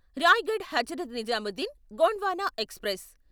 Raigad Hazrat Nizamuddin Gondwana express